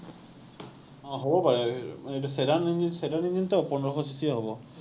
অ, হ’ব পাৰে। এৰ এইটো Sedanengine, Sedanengine টো, পোন্ধৰশ CC এ হ’ব।